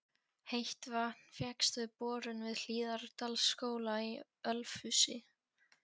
Heitt vatn fékkst með borun við Hlíðardalsskóla í Ölfusi.